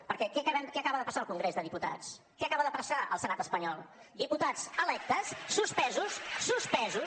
perquè què acaba de passar al congrés dels diputats què acaba de passar al senat espanyol diputats electes suspesos suspesos